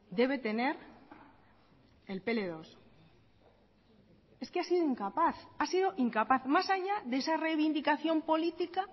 debe tener el pe ele dos es que ha sido incapaz ha sido incapaz más allá de esa reivindicación política